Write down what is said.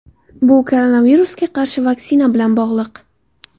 Bu koronavirusga qarshi vaksina bilan bog‘liq.